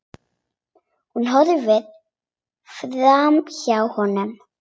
Hún horfir framhjá honum.